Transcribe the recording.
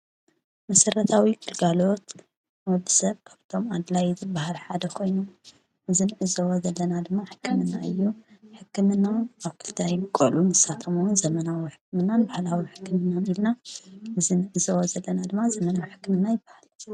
መሰረታዊ ግልጋሎት ንወዲ ሰብ ካብቶም ኣድላይ ዝበሃል ሓደ ኾይኑ እዝ ንዕዘቦ ዘለና ድማ ሕክምና እዩ። ሕክምና ኣብ ክልተ ይምቀሉ ንሳቶም እዉን ዘመናዊ ሕክምናን ባሕላዊ ሕክምናን ኢልና፣ እዝ ንዕዝቦ ዘለና ድማ ዘመናዊ ሕክምና ይባሃል።